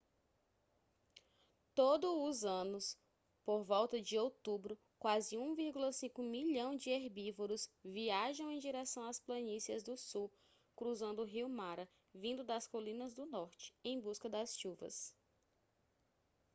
todo os anos por volta de outubro quase 1,5 milhão de herbívoros viajam em direção às planícies do sul cruzando o rio mara vindo das colinas do norte em busca das chuvas